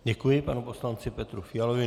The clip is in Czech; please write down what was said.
Děkuji panu poslanci Petru Fialovi.